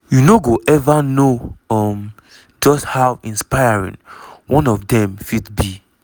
you no go ever know um just how inspiring one of dem fit be."